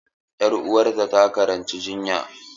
Ƴar uwata takaranci jinya.